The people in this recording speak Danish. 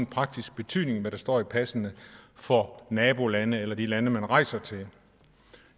praktisk betydning hvad der står i passene for nabolande eller de lande man rejser til